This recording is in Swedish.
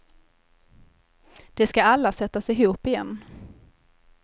De ska alla sättas ihop igen.